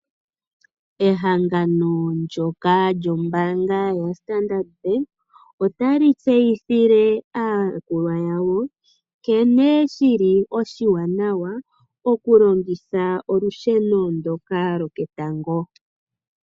Ehangano ndyoka lyombaanga yoStandard Bank, otali tseyithile aayakulwa yawo, nkene shili oshiwanawa okulongitha olusheno ndyoka lwoketango.